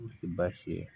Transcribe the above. Se baasi ye